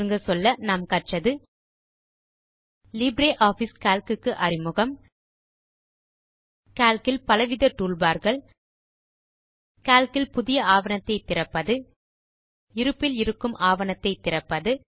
சுருங்க சொல்ல நாம் கற்றது லிப்ரியாஃபிஸ் கால்க் க்கு அறிமுகம் கால்க் இல் பலவித toolbarகள் கால்க் இல் புதிய ஆவணத்தை திறப்பது இருப்பில் இருக்கும் ஆவணத்தை திறப்பது